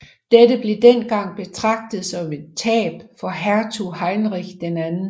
Dette blev dengang betragtet som et tab for hertug Heinrich II